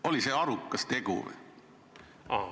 Oli see arukas tegu?